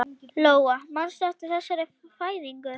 Lóa: Manstu eftir þessari fæðingu?